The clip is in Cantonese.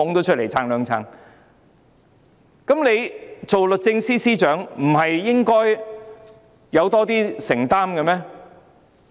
作為律政司司長，她是否應該有更多承擔？